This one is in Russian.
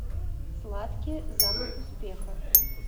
сладкий запах успеха